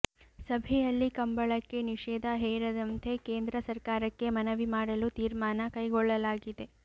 ಸಭೆಯಲ್ಲಿ ಕಂಬಳಕ್ಕೆ ನಿಷೇಧ ಹೇರದಂತೆ ಕೇಂದ್ರ ಸರ್ಕಾರಕ್ಕೆ ಮನವಿ ಮಾಡಲು ತೀರ್ಮಾನ ಕೈಗೊಳ್ಳಲಾಗಿದೆ